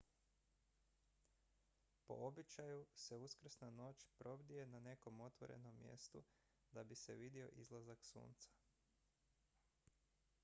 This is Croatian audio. po običaju se uskrsna noć probdije na nekom otvorenom mjestu da bi se vidio izlazak sunca